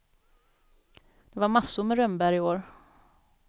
Det var massor med rönnbär i år.